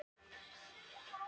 Ég ætla að bíða með það.